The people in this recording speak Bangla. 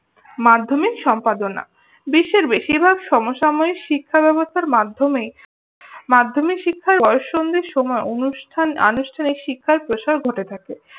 মাধ্যমিক সম্পাদনা। বিশ্বের বেশিরভাগ সমসাময়িক শিক্ষা ব্যবস্থার মাধ্যমে মাধ্যমিক শিক্ষার বয়ঃসন্ধির সময় অনুষ্ঠান আনুষ্ঠানিক শিক্ষার প্রসার ঘটে থাকে।